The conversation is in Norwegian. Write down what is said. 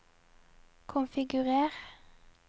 konfigurer